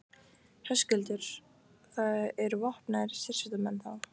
Höskuldur: Það eru vopnaðir sérsveitarmenn, þá?